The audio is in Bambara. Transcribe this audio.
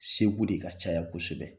Segu de ka caya kosɛbɛ.